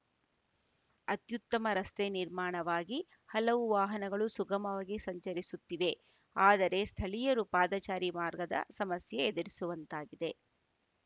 ಅತ್ಯುತ್ತಮ ರಸ್ತೆ ನಿರ್ಮಾಣವಾಗಿ ಹಲವು ವಾಹನಗಳು ಸುಗಮವಾಗಿ ಸಂಚರಿಸುತ್ತಿವೆ ಆದರೆ ಸ್ಥಳೀಯರು ಪಾದಚಾರಿ ಮಾರ್ಗದ ಸಮಸ್ಯೆ ಎದುರಿಸುವಂತಾಗಿದೆ